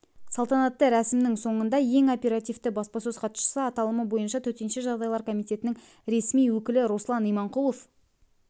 салтанатты рәсімнің соңында ең оперативті баспасөз хатшысы аталымы бойынша төтенше жағдайлар комитетінің ресми өкілі руслан иманқұлов